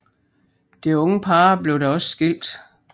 Det unge par blev da også skilt